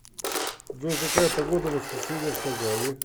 джой какая погода в воскресенье в казани